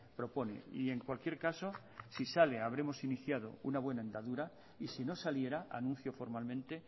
propone y en cualquier caso si sale habremos iniciado una buena andadura y sino saliera anuncio formalmente